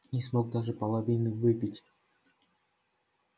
не смог даже половины выпить